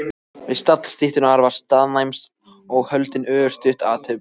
Við stall styttunnar var staðnæmst og haldin örstutt athöfn.